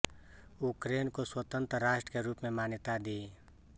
Ukraine को स्वतंत्र राष्ट्र के रूप में मान्यता दी